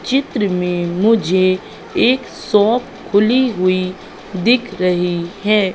चित्र में मुझे एक शॉप खुली हुई दिख रही हैं।